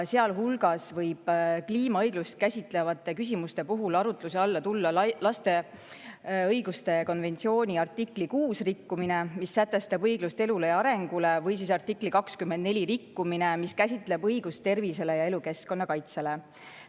Sealhulgas võib kliimaõigust käsitlevate küsimuste puhul arutluse alla tulla lapse õiguste konventsiooni artikli 6 rikkumine, mis sätestab õiguse elule ja arengule, või artikli 24 rikkumine, mis käsitleb õigust tervisele ja elukeskkonna kaitsele.